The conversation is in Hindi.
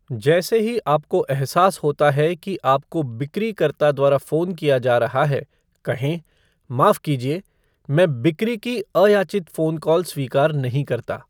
जैसे ही आपको एहसास होता है कि आपको बिक्रीकर्ता द्वारा फ़ोन किया जा रहा है, कहें, माफ़ कीजिये, मैं 'बिक्री की अयाचित फ़ोन कॉल स्वीकार नहीं करता।